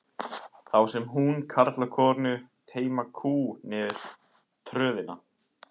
Þá sér hún karl og konu teyma kú niður tröðina.